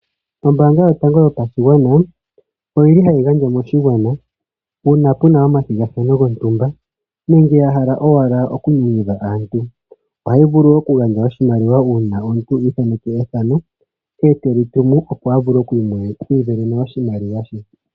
Ombaanga yotango yopashigwana oyi li hayi gandja moshigwana uuna pu na omathigathano gontumba nenge ya hala owala okunyanyudha aantu. Ohayi vulu okugandja oshimaliwa uuna omuntu i ithaneke ethano ndele te li tumu, opo a vule oku isindanena oshimaliwa she.